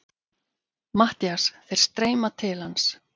MATTHÍAS: Þeir streyma til hans.